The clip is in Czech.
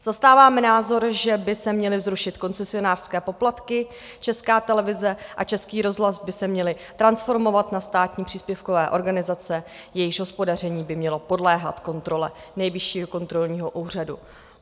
Zastáváme názor, že by se měly zrušit koncesionářské poplatky, Česká televize a Český rozhlas by se měly transformovat na státní příspěvkové organizace, jejichž hospodaření by mělo podléhat kontrole Nejvyššího kontrolního úřadu.